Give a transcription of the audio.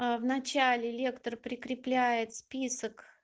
в начале лектор прикрепляет список